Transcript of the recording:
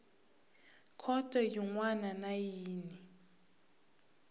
khoto yin wana na yin